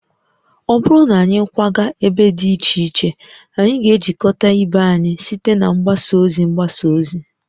Ọ bụrụ na anyị akwaga ebe dị iche iche, anyị ga-ejikọta ibe anyị site na mgbasa ozi mgbasa ozi